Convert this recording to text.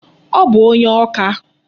Ọ bụ onye Awka.